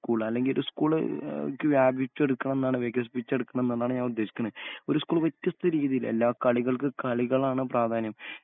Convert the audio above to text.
School അല്ലെങ്കിയൊരു school എഹ് വ്യാപിച്ചെടുക്കണംന്നാണ് വികസിപ്പിച്ചെടുക്കണം ന്നതാണ് ഞാനുദ്ദേശിക്കുന്നത്. ഒരു സ്‌കൂള് വ്യത്യസ്‌ത രീതിയില് എല്ലാ കളികൾക്ക് കളികളാണ് പ്രാധാന്യം